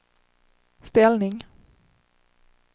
ställning